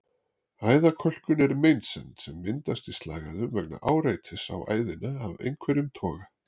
Æðakölkun er meinsemd sem myndast í slagæðum vegna áreitis á æðina af einhverjum toga.